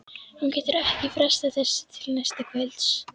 Hún getur ekki frestað þessu til næsta kvölds.